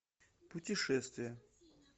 путешествия